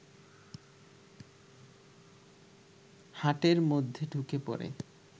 হাটের মধ্যে ঢুকে পড়ে